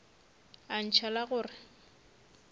a ntšha la go re